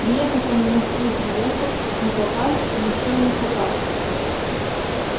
приехать он в москву приехал но попасть ещё не попал